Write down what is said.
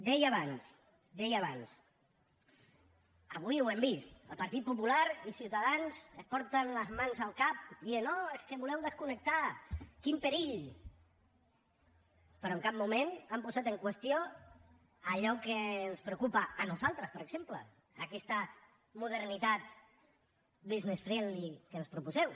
deia abans deia abans avui ho hem vist el partit popular i ciutadans es porten les mans al cap dient oh és que voleu desconnectar quin perill però en cap moment han posat en qüestió allò que ens preocupa a nosaltres per exemple aquesta modernitat business friendly que ens proposeu